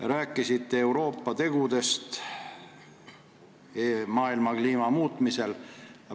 Te rääkisite Euroopa tegudest maailma kliima muutmisel.